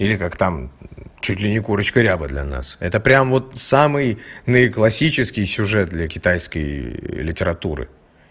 или как там чуть ли не курочка ряба для нас это прям вот самый наиклассический сюжет для китайской литературы